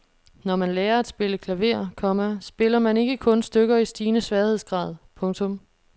Når man lærer at spille klaver, komma spiller man ikke kun stykker i stigende sværhedsgrad. punktum